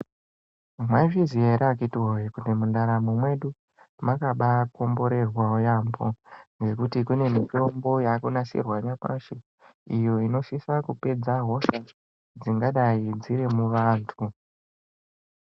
Maizviziya ere akitiwoye kuti mundaramo yedu makabakomborerwawo yambo ngekuti kune mitombo yakunasirwa nyamashi iyo inosisa kupedza hosha dzingadai dziri muvantu.